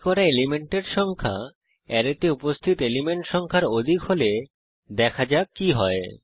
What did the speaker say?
copy করা এলিমেন্টের সংখ্যা অ্যারেতে উপস্থিত এলিমেন্ট সংখ্যার অধিক হলে দেখা যাক কি হয়